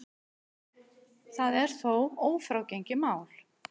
Það er þó ófrágengið mál.